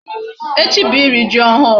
Echi bụ iri ji ọhụụ.